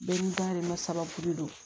Bɛɛ n'i dayirimɛ saba de don